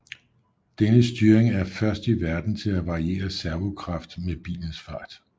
Denne styring er først i verden til at variere servo kraft med bilens fart